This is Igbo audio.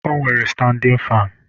O nwere standin fan.